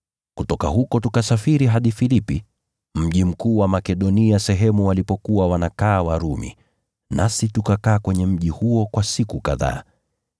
Kutoka huko tukasafiri hadi Filipi, mji mkuu wa jimbo hilo la Makedonia, uliokuwa koloni ya Warumi. Nasi tukakaa huko siku kadhaa.